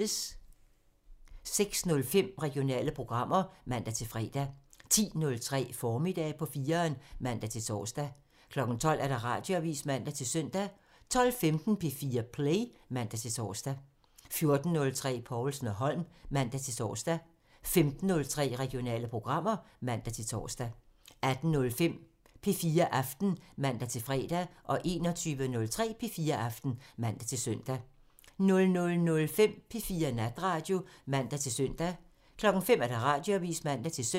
06:05: Regionale programmer (man-fre) 10:03: Formiddag på 4'eren (man-tor) 12:00: Radioavisen (man-søn) 12:15: P4 Play (man-tor) 14:03: Povlsen & Holm (man-tor) 15:03: Regionale programmer (man-tor) 18:05: P4 Aften (man-fre) 21:03: P4 Aften (man-søn) 00:05: P4 Natradio (man-søn) 05:00: Radioavisen (man-søn)